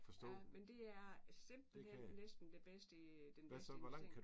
Ja men det er simpelthen næsten de bedste den bedste investering